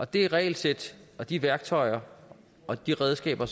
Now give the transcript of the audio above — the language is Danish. det regelsæt de værktøjer og de redskaber